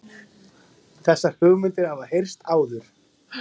Þessar hugmyndir hafa heyrst áður